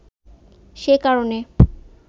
সে কারনে